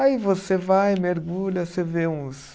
Aí você vai, mergulha, você vê uns